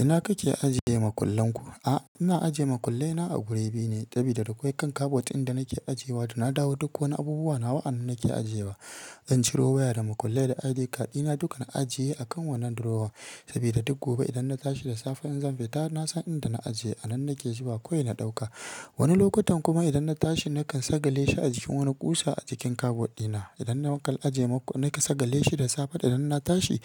Ina kake ajiye makullenku? A, ina ajiye makullena a guri biyu ne sabida akwai kan kabod ɗin da nake ajiyewa da na dawo duk wani abubuwa nawa anan nake ajiyewa. Zan ciro waya da makulle da ID card ɗina duka na ajiye a kan wannan drawer sabida duk gobe idan na tashi da safe in zan fita nasan inda na ajiye, a nan nake zuwa kawai na ɗauka. Wani lokutan kuma idan na tashi nakan sagale shi a jikin wani kusa a jikin kabod ɗina. Idan na makal ajiye nakan sagale shi da safe idan na tashi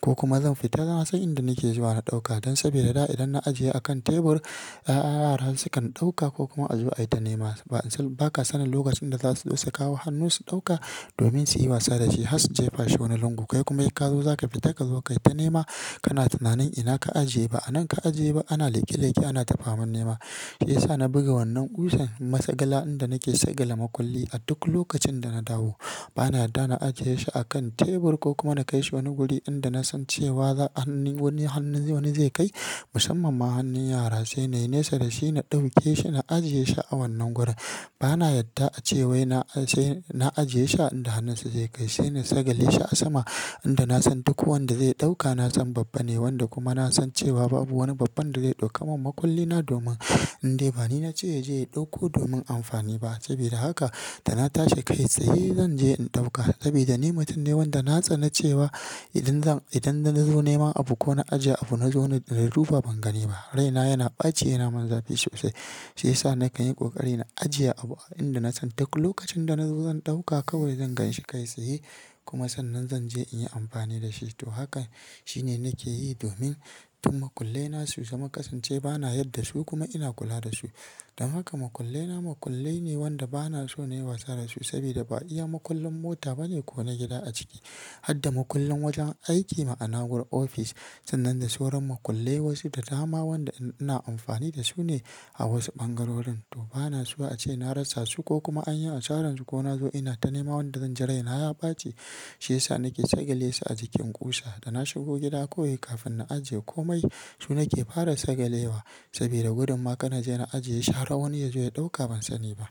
ko kuma zan fita na san inda nake zuwa na ɗauka. Dan sabida da idan na ajiye a kan tebur, yara sukan ɗauka ko kuma a zo a yi ta nema. Ba san, ba ka sanin lokacin da za su zo su kawo hannu su ɗauka domin su yi wasa da shi har su jefa shi wani lungu. Kai kuma in ka zo za ka fita ka zo ka yi ta nema kana tunanin ina ka ajiye ba, ba a nan ka ajiye ba ana leƙe leƙe ana tafaman nema. Shi ya sa na buga wannan kusan masagala inda nake sagala makulli a duk lokacin da na dawo. Bana yadda na ajiye shi a kan tebur ko kuma na kai shi wani guri inda na san cewa za hannun wani hannun wani zai kai, musamman ma hannun yara sai na yi nesa da shi na ɗauke shi na ajiye shi a wannan gurin. Bana yadda a ce wai na ajiye shi inda hannunsu zai kai sai na sagale shi a sama inda na san duk wanda zai ɗauka na san babban ne wanda kuma na san cewa babu wani babban da zai ɗauka min makulli na domin indai ba ni na ce ya je ya ɗauko domin amfani ba. Sabida haka da na tashi kai tsaye zan je in ɗauka sabida ni mutum ne wanda na tsana cewa idan zan, idan na zo nema abu ko na ajiye abu na zo na duba ban gani ba. Rai na yana ɓaci yana min zafi sosai. Shi ya sa nakan yi ƙoƙari na ajiye abu a inda na san duk lokacin da na zo zan ɗauka kawai zan ganshi kai tsaye kuma sannan zan je in yi amfani da shi. To haka shine nake yi domin duk makullena su zama kasance ba na yarda su kuma ina kula da su. Don haka makullena makullai ne wanda ba na so nayi wasa da su sabida ba iya makullin mota bane ko na gida a ciki. Hadda makullin wajen aiki ma'ana gurin ofis sannan da sauran makullai wasu da dama waɗanda ina amfani da su ne a wasu ɓangarorin. To ba na so a ce na rasa su ko kuma an yi a saran su ko na zo ina ta nema wanda zan ji raina ya ɓaci. Shi ya sa nake sagale su a jikin kusa da na shigo gida kawai kafin na ajiye komai su nake fara sagalewa sabida gudumma kar na je na ajiye shi har wani ya zo ya ɗauka ban sani ba.